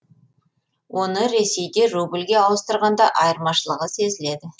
оны ресейде рубльге ауыстырғанда айырмашылығы сезіледі